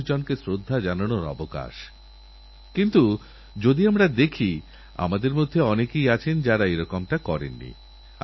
আমাদেরআশাপ্রত্যাশা তো অনেক কিন্তু রিওতে খেলার জন্য যাঁরা গেছেন সেইসব খেলোয়াড়দের উৎসাহকেআরও জোরদার করার কাজ ১২৫ কোটি দেশবাসীর